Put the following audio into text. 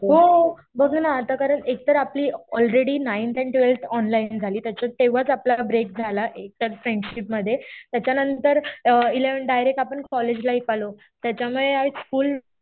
हो बघ ना आता. एकतर आपली ऑल रेडी नाईन्थ आणि टेंथ ऑनलाईन झाली. त्याच्यात तेव्हाच आपला ब्रेक झाला फ्रेंडशिप मध्ये. त्याच्यानंतर इलेव्हन डायरेक्ट आपण कॉलेजला हि आलो. त्याच्यामुळे स्कुल